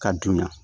Ka dun yan